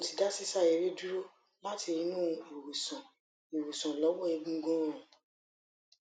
mo ti da sisa ere duro lati ni iwonsan iwonsan lowo egungun orun